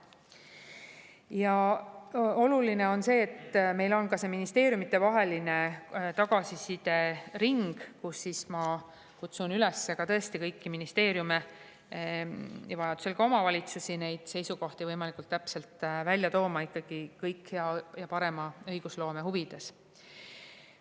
Ja oluline on see, et meil on ka ministeeriumidevaheline tagasisidering, kus ma kutsun üles kõiki ministeeriume ja vajadusel ka omavalitsusi oma seisukohti võimalikult täpselt välja tooma, ja just nimelt hea ja parema õigusloome huvides.